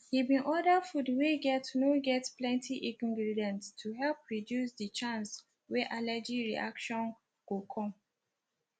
he been order food wey get no get plenty ingredients to help reduce the chance wey allergy reaction go come